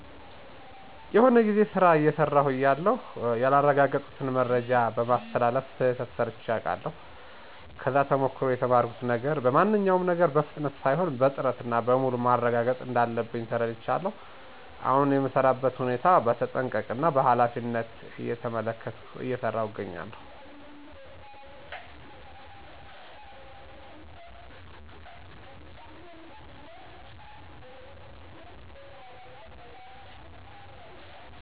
የሆነ ጊዜ ስራ አየሰራው እያለሁ ያላረጋገጥኩትን መረጃ በማስተላለፍ ስህተት ሰርቼ አቃለሁ። ከዛ ተሞክሮ የተማርኩት ነገር በማንኛውም ነገር በፍጥነት ሳይሆን በጥረት እና በሙሉ ማረጋገጥ እንዳለብኝ ተረዳሁ። አሁን የምሰራበትን ሁኔታ በተጠንቀቀ እና በኃላፊነት እየተመለከትኩ እየሰራው እገኛለሁ።